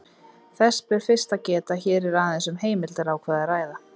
Þess ber fyrst að geta að hér er aðeins um heimildarákvæði að ræða.